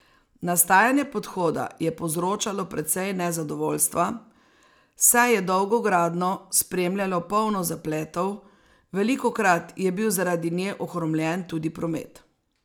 Nastajanje podhoda je povzročalo precej nezadovoljstva, saj je dolgo gradnjo spremljalo polno zapletov, velikokrat je bil zaradi nje ohromljen tudi promet.